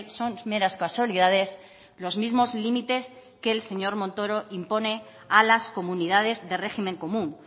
son meras casualidades los mismos límites que el señor montoro impone a las comunidades de régimen común